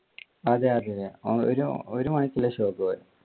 അതെ അതെ ഒരു മണിക്ക് ഉള്ള show ക്ക് ആ പോയെ.